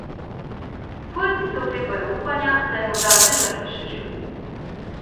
Svojci se oklepajo upanja, da je morda vendarle še živ.